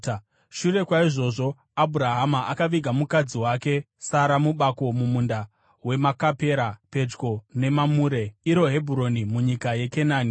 Shure kwaizvozvo Abhurahama akaviga mukadzi wake Sara mubako mumunda weMakapera pedyo neMamure (iro Hebhuroni) munyika yeKenani.